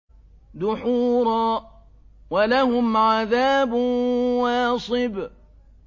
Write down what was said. دُحُورًا ۖ وَلَهُمْ عَذَابٌ وَاصِبٌ